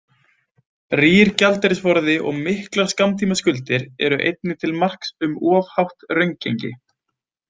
Rýr gjaldeyrisforði og miklar skammtímaskuldir eru einnig til marks um of hátt raungengi.